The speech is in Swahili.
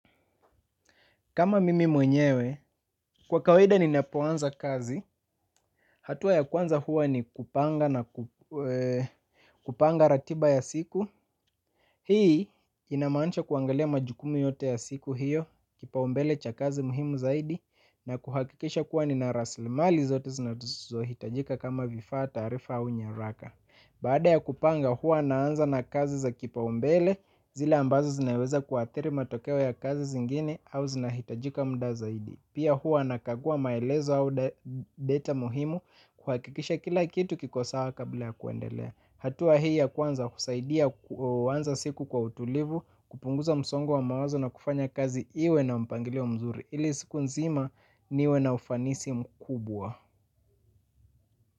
Kama mimi mwenyewe, kwa kawaida ninapoanza kazi. Hatua ya kwanza huwa ni kupanga ratiba ya siku. Hii inamaanisha kuangalia majukumu yote ya siku hiyo, kipaumbele cha kazi muhimu zaidi na kuhakikisha kuwa nina rasilimali zote zinazohitajika kama vifaa taarifa au nyaraka. Baada ya kupanga huwa naanza na kazi za kipaumbele zile ambazo zinaweza kuathiri matokeo ya kazi zingine au zinahitajika muda zaidi. Pia huwa nakagua maelezo au data muhimu kuhakikisha kila kitu kiko sawa kabla ya kuendelea. Hatua hii ya kwanza kusaidia kuanza siku kwa utulivu kupunguza msongo wa mawazo na kufanya kazi iwe na mpangilio mzuri ili siku nzima niwe na ufanisi mkubwa.